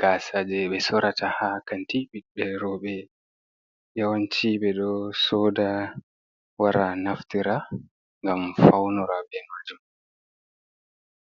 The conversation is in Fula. Gasa je be sorata ha kanti bibbe robe yawanci be ɗo soɗa wara naftira ngam faunora be majum.